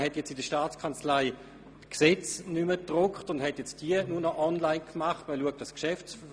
Man hat nun in der Staatskanzlei die Gesetze nicht mehr gedruckt, sondern nur noch online abrufbar gemacht.